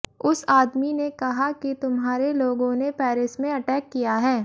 उस आदमी ने कहा कि तुम्हारे लोगोंने पैरिस में अटैक किया है